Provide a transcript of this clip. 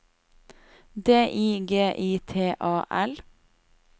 D I G I T A L